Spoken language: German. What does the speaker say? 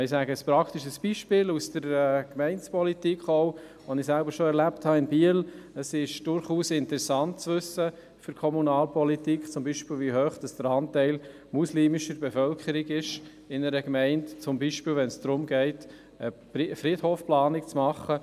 Ein praktisches Beispiel aus der Gemeindepolitik aus Biel: Es ist für die Kommunalpolitik durchaus interessant zu wissen, wie hoch beispielsweise der Anteil der muslimischen Bevölkerung ist, beispielsweise wenn es um eine Friedhofsplanung geht.